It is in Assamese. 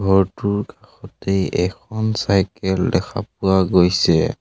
ঘৰটোৰ কাষতেই এখন চাইকেল দেখা পোৱা গৈছে।